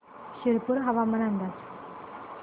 शिरपूर हवामान अंदाज